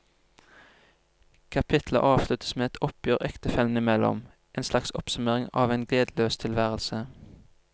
Kapitlet avsluttes med et oppgjør ektefellene imellom, en slags oppsummering av en gledesløs tilværelse.